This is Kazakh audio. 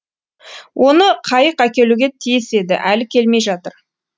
оны қайық әкелуге тиіс еді әлі келмей жатыр